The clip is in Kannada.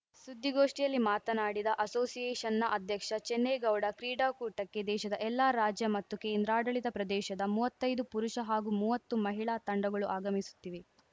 ಸುದ್ದಿಗೋಷ್ಠಿಯಲ್ಲಿ ಮಾತನಾಡಿದ ಅಸೋಸಿಯೇಷನ್‌ನ ಅಧ್ಯಕ್ಷ ಚಿನ್ನೇಗೌಡ ಕ್ರೀಡಾಕೂಟಕ್ಕೆ ದೇಶದ ಎಲ್ಲ ರಾಜ್ಯ ಮತ್ತು ಕೇಂದ್ರಾಡಳಿತ ಪ್ರದೇಶದ ಮುವತ್ತೈದು ಪುರುಷ ಹಾಗೂ ಮುವತ್ತು ಮಹಿಳಾ ತಂಡಗಳು ಆಗಮಿಸುತ್ತಿವೆ